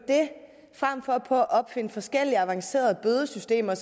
frem for på at opfinde forskellige avancerede bødesystemer